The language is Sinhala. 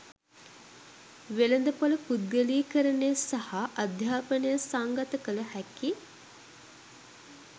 වෙළඳපොළ පුද්ගලීකරණය සහ අධ්‍යාපනය සංගත කළ හැකි